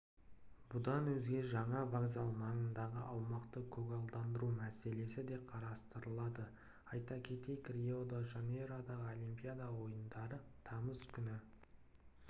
бұдан өзге жаңа вокзал маңындағы аумақты көгалдандыру мәселесі де қарастырылады айта кетейік рио-де-жанейродағыолимпиада ойындары тамыз күні